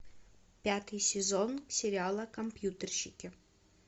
пятый сезон сериала компьютерщики